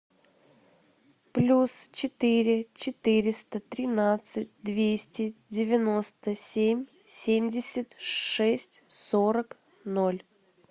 плюс четыре четыреста тринадцать двести девяносто семь семьдесят шесть сорок ноль